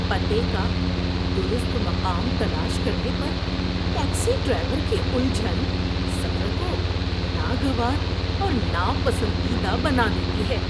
پتے کا درست مقام تلاش کرنے پر ٹیکسی ڈرائیور کی الجھن سفر کو ناگوار اور ناپسندیدہ بنا دیتی ہے۔